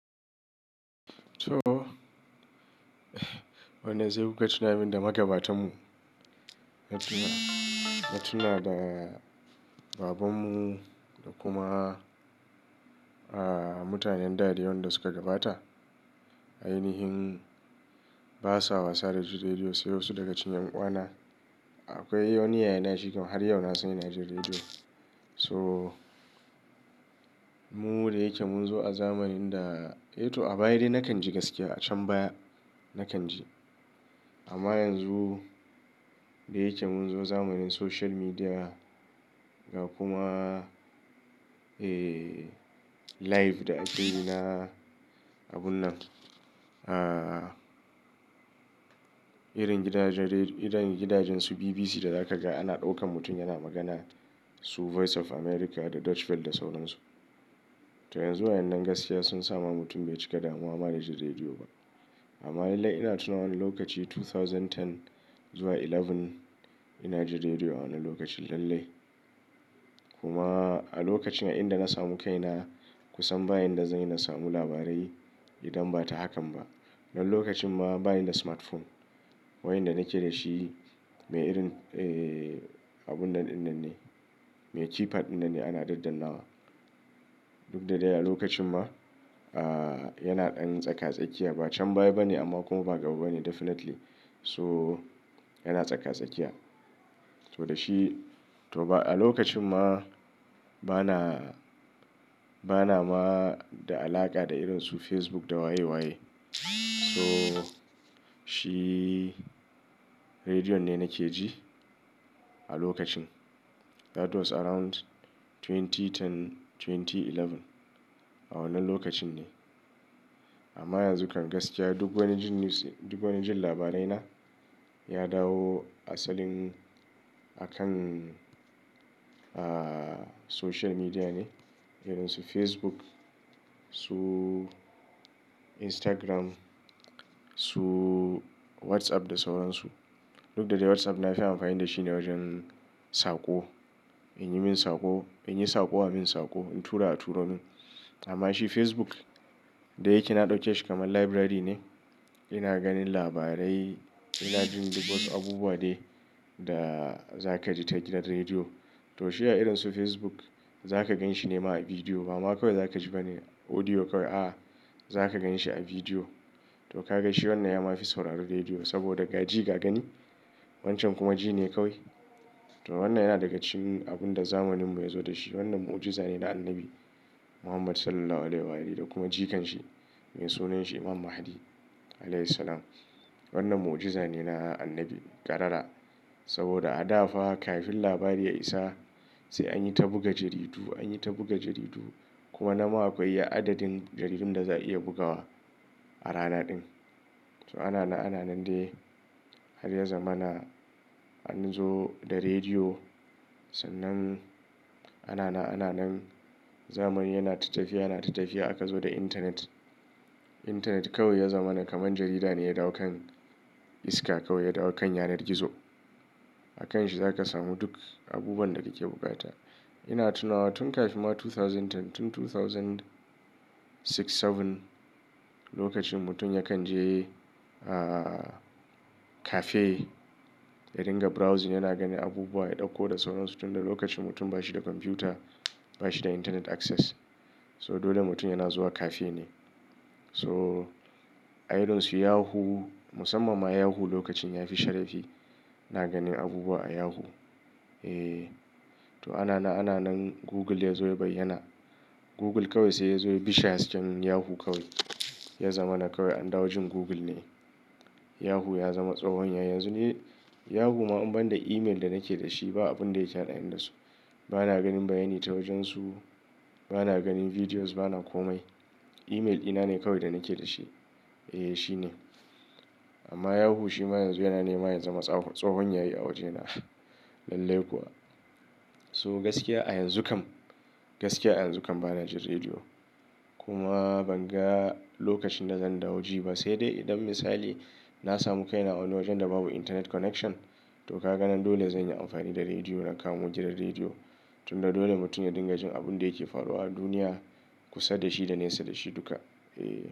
To, wannan zai runga tuna min da magabatan mu. Na tuna da babanmu da kuma mutanen da dai wanda su ka gabata. Ainihin ba sa wasa da juna biyu sai wasu daga cikin ɗan uwana. Akwai wani yayana shi kam har yau na san yana jin rediyo. So, mu da yake mun zo a zamanin da, eh to a baya dai na kan ji gaskiya a can baya na kan ji. Amma yanzu da yake mun zo zamanin social media ga kuma, eh, live da ake yi na abun nan. Ah, irin gidajen su BBC da za ka ga ana ɗaukan mutum yana magana su Voice of America da Deutsche Welle da sauran su. To yanzu wayannan gaskiya sun sa ma mutum bai cika damuwa ma da jin rediyo ba. Amma lallai ina tuna wani lokaci 2010 zuwa 11 ina jin rediyo a wannan lokacin lallai. Kuma a lokacin a inda na samu kaina kusan ba yanda zanyi na samu labarai idan ba ta hakan ba dan lokacin ma bani da smartphone. Wayan da na ke da shi mai irin, eh, abun nan ɗin nan ne. Mai keypad ɗin nan ne ana daddanawa. Duk da dai a lokacin ma, ah, yana ɗan tsaka-tsakiya ba can baya ba ne amma kuma ba gaba ba ne definitely. So, yana tsaka-tsakiya. To da shi, to ba a lokacin ma bana, bana ma da alaƙa da irin su Facebook da waye-waye. So, shi rediyon ne na ke ji a lokacin. That was around 2010, 2011. A wannan lokacin ne. Amma yanzu kan gaskiya duk wanda jin news, duk wanda jin labarai na ya dawo asalin a kan, ah, social media ne. Irin su Facebook, su Instagram, su WhatsApp da sauran su. Duk da dai WhatsApp na fi amfani da shi ne wajen saƙo. In yi min saƙo, in yi saƙo a min saƙo, in tura a turo min. Amma shi Facebook da yake na ɗauke shi kamar library ne. Ina ganin labarai, ina jin duk wasu abubuwa dai da za ka ji ta gidan rediyo. To shi a irin su Facebook za ka gan shi ne ma a bidiyo. Ba ma kawai za ka ji bane audio kawai, a'a. Za ka gan shi a bidiyo. To ka gan shi wannan ya ma fi sauraron rediyo saboda ga ji ga gani. Wancan kuma ji ne kawai. To wannan yana daga cikin abun da zamaninmu ya zo da shi. Wannan mu'ujiza ne na Annabi Muhammad Sallallahu Alaihi Wasallam da kuma jikan shi mai sunan shi Imam Mahdi Alaihis Salam. Wannan mu'ujiza ne na Annabi ƙarara. Saboda a da fa kafin labari ya isa sai anyi ta buga jaridu anyi ta buga jaridu, kuma nan ma akwai adadin jaridun da za'a iya bugawa, a rana din so ana na ana nan dai har ya zamana an zo da rediyo. Sannan ana na ana nan zamani yana ta tafiya yana ta tafiya aka zo da intanet. Intanet kawai ya zamana kamar jarida ne ya dawo kan iska kawai ya dawo kan yanar gizo. A kan shi za ka samu duk abubuwan da kake bukata. Ina tuna tun kafin ma 2010, tun 2006, 7 lokacin mutum ya kan je, ah, cafe ya ringa browsing yana ganin abubuwa, ya ɗauko da sauran su. Tun da lokacin mutum ba shi da kwamfuta, ba shi da internet access. So dole mutum yana zuwa cafe ne. So a irin su Yahoo, musamman ma Yahoo lokacin ya fi sharafi. iNa ganin abubuwa a Yahoo. Eh, to ana na ana nan Google ya zo ya bayyana. Google kawai sai ya zo ya bishe hasken Yahoo kawai. Ya zamana kawai an dawo jin Google ne. Yahoo ya zama tsohon yayi. Yanzu ni Yahoo ma in banda email da nake da shi ba abun da yake na ɗaya da su. Bana ganin bayani ta wajensu, bana ganin videos bana komai Email dina ne kawai da nake da shi. Eh shine amma Yahoo shi ma yanzu yana nema yin zama tsohon yayi a wajena lallai kuwa. So gaskiya a yanzu kam, gaskiya a yanzu kam bana jin rediyo. Kuma ban ga lokacin da zan dawo ji ba. Sai dai idan misali na samu kaina a wani wajen da babu internet connection to kaga nan dole zan yi amfani da rediyo na kamo gidan rediyo. Tun da dole mutum ya dinga jin abun da yake faruwa a duniya kusa da shi da nesa da shi duka. Eh.